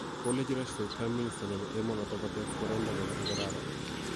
Kolechi Rashford Prime Minister nebo emonoto kotes boroindo nebo igorara